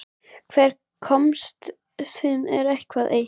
Hvers konar ástarsamband er þetta eiginlega?